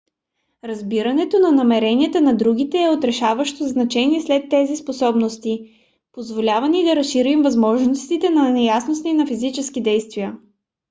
разбирането на намеренията на другите е от решаващо значение сред тези способности. позволява ни да разрешим възможните неясноти на физическите действия